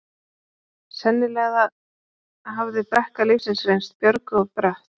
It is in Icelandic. Sennilega hafði brekka lífsins reynst Björgu of brött.